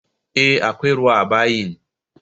Eh akwai ruwa a bayin